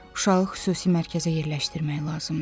Uşağı xüsusi mərkəzə yerləşdirmək lazımdır.